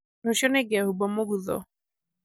rũciũ nĩngehumba mũgutho